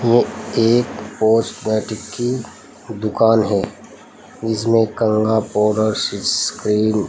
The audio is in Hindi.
एक की दुकान है जिसमें पाउडर सीसक्रीन--